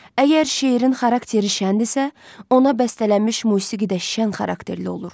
Əgər şeirin xarakteri şəndirsə, ona bəstələnmiş musiqi də şən xarakterli olur.